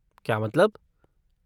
क्या मतलब?